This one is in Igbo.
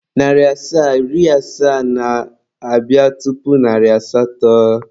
Narị asaa na iri asaa na-abịa tupu narị asatọ.